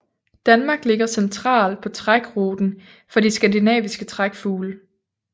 Danmark ligger centralt på trækruten for de skandinaviske trækfugle